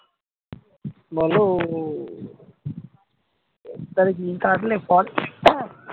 বল